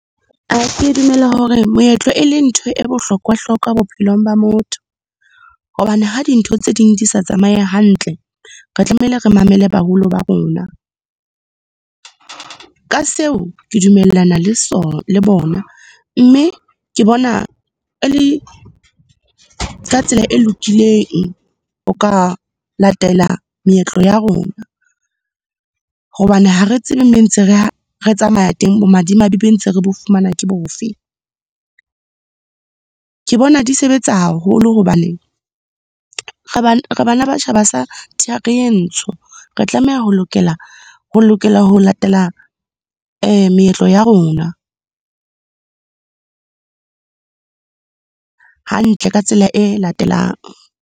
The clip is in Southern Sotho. ke dumela hore moetlo, e leng ntho e bohlokwa-hlokwa bophelong ba motho. Hobane ha dintho tse ding di sa tsamaye hantle, re tlamehile re mamele baholo ba rona. Ka seo ke dumellana le le bona, mme ke bona e le ka tsela e lokileng ho ka latela meetlo ya rona, hobane ha re tsebe, moo ntse re tsamaya teng bomadimabe be ntse re bo fumana ke bofe. Ke bona di sebetsa haholo, hobaneng re , re bana ba tjhaba sa thari e ntsho. Re tlameha ho lokela, ho latela meetlo ya rona. Hantle, ka tsela e latelang.